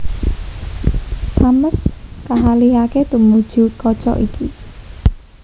Thames kaalihaké tumuju kaca iki